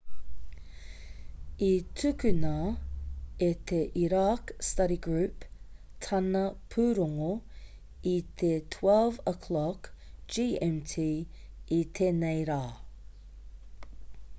i tukuna e te iraq study group tāna pūrongo i te 12.00 gmt i tēnei rā